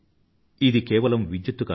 ఇది కేవలం విద్యుత్తు కాదు